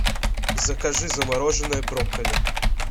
закажи замороженное брокколи